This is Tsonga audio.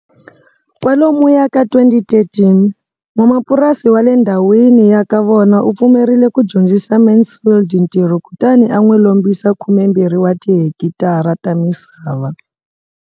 Kwalomuya ka 2013, n'wamapurasi wa le ndhawini ya ka vona u pfumerile ku dyondzisa Mansfield ntirho kutani a n'wi lombisa 12 wa tihekitara ta misava.